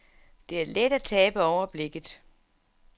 Det er let at tabe overblikket.